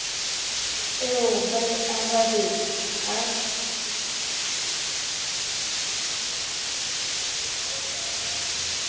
eo ba e arabetseng ha